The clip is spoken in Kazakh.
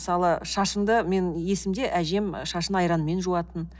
мысалы шашымды менің есімде әжем шашын айранмен жуатын